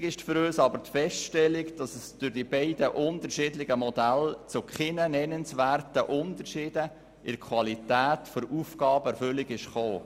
Wichtig ist für uns aber die Feststellung, dass die zwei verschiedenen Modelle zu keinen nennenswerten Unterschieden in der Qualität der Aufgabenerfüllung geführt haben.